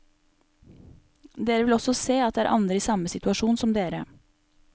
Dere vil også se at det er andre i samme situasjon som dere.